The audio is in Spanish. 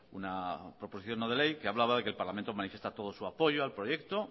una proposición no de ley que hablaba de que el parlamento manifiesta todo su apoyo al proyecto